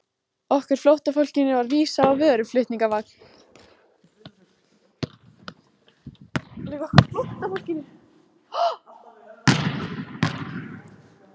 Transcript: Okkur flóttafólkinu var vísað á vöruflutningavagn.